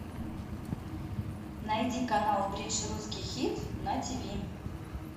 найди канал бридж русский хит на тв